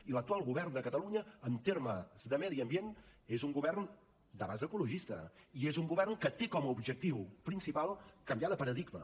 i l’actual govern de catalunya en termes de medi ambient és un govern de base ecologista i és un govern que té com a objectiu principal canviar de paradigma